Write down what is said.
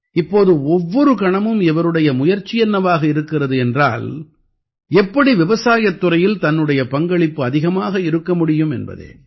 இப்போது ஒவ்வொரு கணமும் இவருடைய முயற்சி என்னவாக இருக்கிறது என்றால் எப்படி விவசாயத் துறையில் தன்னுடைய பங்களிப்பு அதிகமாக இருக்க முடியும் என்பதே